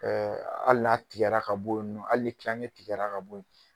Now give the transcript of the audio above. ali n'a tigɛra ka bo yen nɔ hali ni tilaŋɛ tigɛra ka bo ye